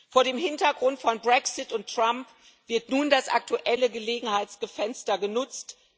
Vor dem Hintergrund von Brexit und Trump wird nun das aktuelle Gelegenheitsfenster genutzt.